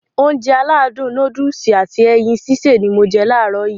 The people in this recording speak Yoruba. Ounjẹ aládùn nóódùsì at ẹyin sísè ni mo je làárọ̀ yii